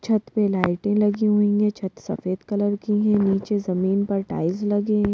छत पे लाइटे लगी हुई है छत सफेद कलर की है नीचे जमीन पर टाइल्स लगी है।